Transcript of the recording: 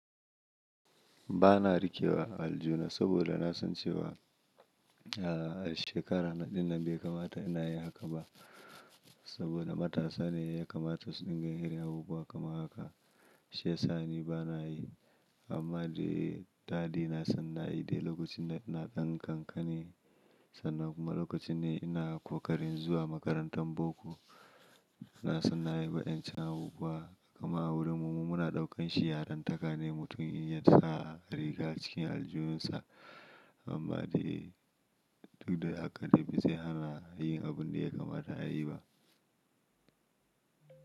Ba na riƙewa aljihubsaboda na san cewa, a shekara na ɗinnan bai kamata inayin hakan ba. Saboda matasa ne ya kamata su dinga yin abubuwa kamar haka. Shiya sa ni bana yi, amma dai daɗi na san na yi dai lokacin da ɗan ƙanƙani. San na kuma lokacin ne ina ƙoƙarin zuwa makarantar boko. Na san na yi wa'yancan abubuwa, amma a wurin mu muna ɗaukan shi yarin taka ne mutum in yasa rigar cikin aljihunsa. Amma dai duk da haka dai bai zai hana yin abun da ya kamata ayi ba.